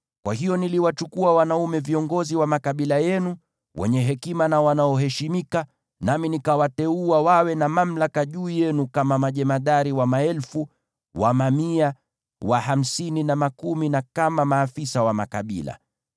Kwa hiyo niliwachukua wanaume viongozi wa makabila yenu, wenye hekima na wanaoheshimika, nami nikawateua wawe na mamlaka juu yenu kama majemadari wa maelfu, wa mamia, wa hamsini, na wa makumi, na kama maafisa wa makabila.